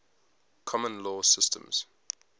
common law systems